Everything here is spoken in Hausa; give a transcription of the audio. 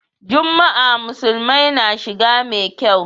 Juma'a musulmai na shiga mai kyau.